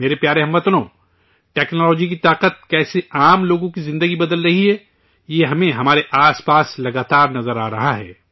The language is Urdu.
میرے پیارے ہم وطنو، ٹیکنالوجی کی طاقت کیسے عام لوگوں کی زندگی بدل رہی ہے، یہ ہمیں ہمارے آس پاس لگاتار نظر آ رہا ہے